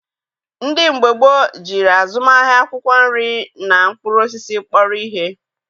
Ndị mgbe gboo jiri azụmahịa akwụkwọ nri na mkpụrụ osisi kpọrọ ihe.